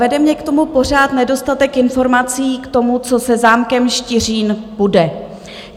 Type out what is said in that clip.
Vede mě k tomu pořád nedostatek informací k tomu, co se zámkem Štiřín bude.